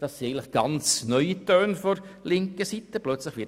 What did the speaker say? Das sind von linker Seite ganz neue Töne.